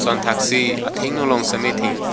lason thak thak si athengno long sitame thengpi--